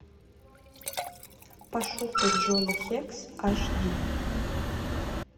пошукай джона хекс аш ди